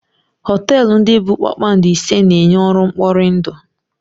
Họtelụ ndị bụ kpakpando ise na-enye ọrụ mkpọrindụ.